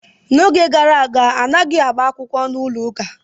N'oge gara aga, anaghị agba akwụkwọ n'ụlọ ụka.